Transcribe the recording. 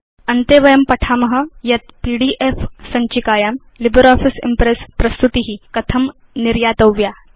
अन्ते वयं पठाम यत् पीडीएफ सञ्चिकायां लिब्रियोफिस इम्प्रेस् प्रस्तुति कथं निर्यातव्या इति